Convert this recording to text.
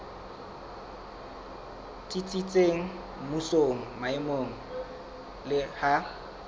tsitsitseng mmusong maemong le ha